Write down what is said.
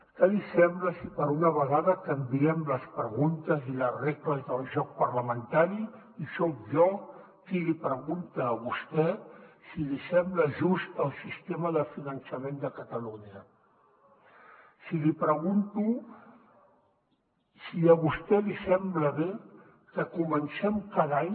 què li sembla si per una vegada canviem les preguntes i les regles del joc parlamentari i soc jo qui li pregunta a vostè si li sembla just el sistema de finançament de catalunya si li pregunto si a vostè li sembla bé que comencem cada any